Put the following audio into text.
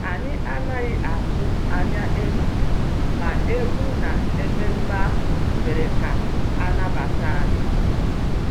Anyị anaghị atụ anya ịnọ, ma egwú na ememe ahụ mere ka a nabata anyị